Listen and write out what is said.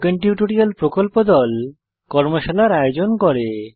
spoken tutorial প্রকল্প দল কর্মশালার আয়োজন করে